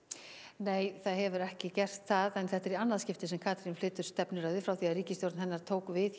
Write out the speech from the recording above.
nei það hefur ekki gert það en þetta er í annað skipti sem Katrín flytur stefnuræðu frá því ríkisstjórn hennar tók við